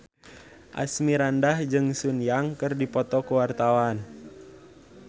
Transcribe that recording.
Asmirandah jeung Sun Yang keur dipoto ku wartawan